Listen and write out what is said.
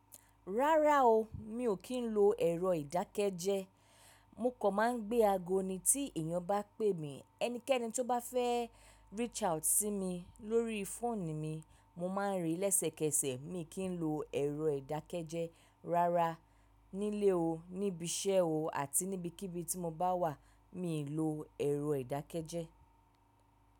Rárá o, mi ò kí ń lo ẹ̀rọ ìdákẹ́jẹ́. Mo kàn máa ń gbé ago ni tí èèyàn bá pè mí. Ẹnikẹ́ni tó bá fẹ́ reach out sí mi lórí fóònù mi, mo máà ń rí í lẹ́sẹ̀kẹsẹ̀. Mi kí ń lo ẹ̀rọ ìdákẹ́jẹ́ rárá nílé o, níbi iṣẹ́ o àti níbikíbi tí mo bá wà, mi lo ẹ̀rọ ìdákẹ́jẹ́.